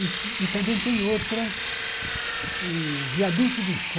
E e também tem outra, o Viaduto do Chá,